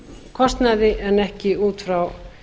kostnaði en ekki út frá